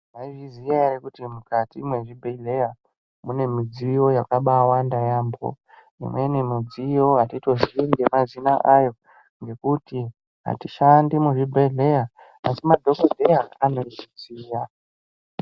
Maizviziya ere kuti mukati mezvibhedhleya mune midziyo yakabawanda yaambo imweni midziyo atitoziyi ngemazina ayo ngekuti atishandi muzvibhedhleya asi madhokodheya anozviziya.